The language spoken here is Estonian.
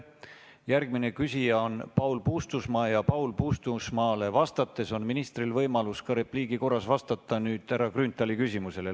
Järgmine küsija on Paul Puustusmaa ja Paul Puustusmaale vastates on ministril nüüd võimalus repliigi korras vastata ka härra Grünthali küsimusele.